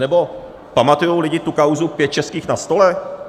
Anebo pamatujou lidi tu kauzu pět českých na stole?